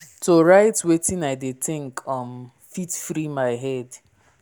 to write wetin i dey think um fit free my head.